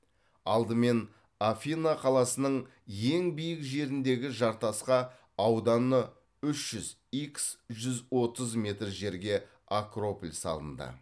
алдымен афина қаласының ең биік жеріндегі жартасқа ауданы үш жүз икс жүз отыз метр жерге акрополь салынды